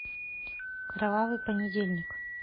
кровавый понедельник